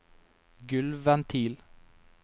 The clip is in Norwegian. gulvventil